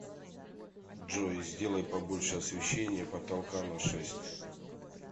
джой сделай побольше освещение потолка на шесть